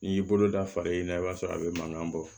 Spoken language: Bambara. N'i y'i bolo da fara i ɲɛna i b'a sɔrɔ a bɛ mankan bɔ